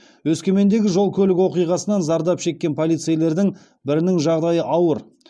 өскемендегі жол көлік оқиғасынан зардап шеккен полицейлердің бірінің жағдайы ауыр